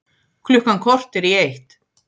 Klukkan korter í eitt